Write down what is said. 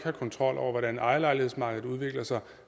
kontrol over hvordan ejerlejlighedsmarkedet udvikler sig og